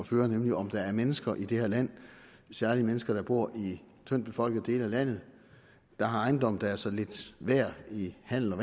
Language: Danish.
føre nemlig om der er mennesker i det her land særlig mennesker der bor i tyndt befolkede dele af landet der har ejendomme der er så lidt værd i handel og